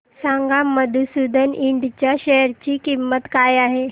सांगा मधुसूदन इंड च्या शेअर ची किंमत काय आहे